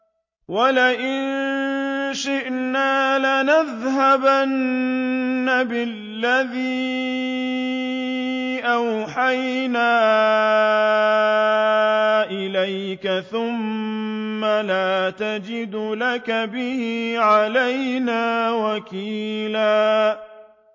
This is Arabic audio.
وَلَئِن شِئْنَا لَنَذْهَبَنَّ بِالَّذِي أَوْحَيْنَا إِلَيْكَ ثُمَّ لَا تَجِدُ لَكَ بِهِ عَلَيْنَا وَكِيلًا